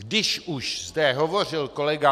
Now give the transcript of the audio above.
Když už zde hovořil kolega